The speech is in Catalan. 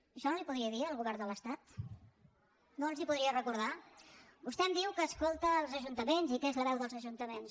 això no li ho podria dir al govern de l’estat no els ho podria recordar vostè em diu que escolta els ajuntaments i que és la veu dels ajuntaments